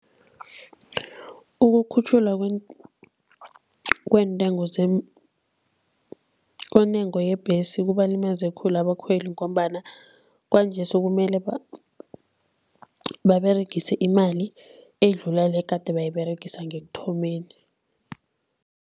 Ukukhutjhulwa kweentengo kwentengo yebhesi kubalimaze khulu abakhweli ngombana kwanje sekumele baberegise imali edlula le egade bayiberegisa ngekuthomeni.